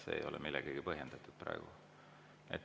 See ei ole praegu millegagi põhjendatud.